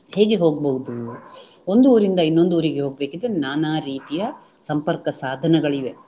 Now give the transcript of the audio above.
ಹೇಗೆ ಹೋಗ್ಬಹುದು, ಒಂದು ಊರಿಂದ ಇನ್ನೊಂದು ಊರಿಗೆ ಹೋಗ್ಬೇಕಿದ್ರೆ ನಾನಾ ರೀತಿಯ ಸಂಪರ್ಕ ಸಾಧನಗಳಿವೆ